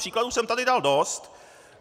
Příkladů jsem tady dal dost.